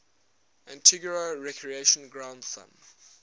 antigua recreation ground thumb